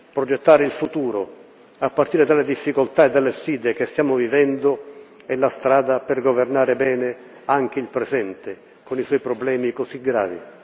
Progettare il futuro, a partire dalle difficoltà e dalle sfide che stiamo vivendo, è la strada per governare bene anche il presente, con i suoi problemi così gravi.